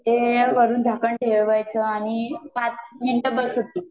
ते वरून झाकण ठेवायचं आणि पाच मिनिट बस होतील